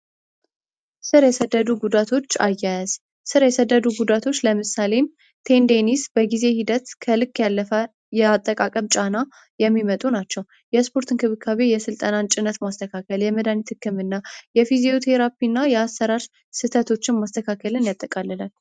ሥር የሰደዱ ጉዳቶች አያያዝ ሥር የሰደዱ ጉዳቶች ለምሳሌም ቴንዴኒስ በጊዜ ሂደት ከልክ ያለፋ የአጠቃቀብ ጫና የሚመጡ ናቸ። ው የስፖርት እንክብካቤ የሥልጠናን ጭነት ማስተካከል የመዳኒት ትክምእና የፊዚዩ ቴራፒ እና የአሰራር ስተቶችን ማስተካከልን ያጠቃልለን።